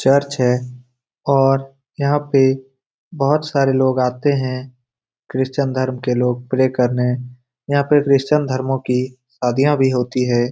Church है और यहां पे बहुत सारे लोग आते हैं क्रिश्चियन धर्म के लोग प्रे करने यहां पर क्रिश्चियन धर्मो की शादियां भी होती है।